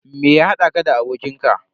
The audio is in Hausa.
Me ya haɗa ka da abokin ka?